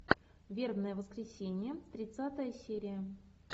вербное воскресенье тридцатая серия